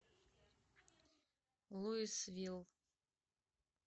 луисвилл